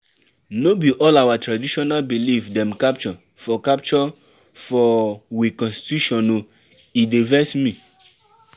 No be all our traditional belief dem capture for capture for we constitution o, e dey vex me.